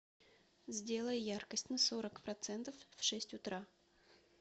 сделай яркость на сорок процентов в шесть утра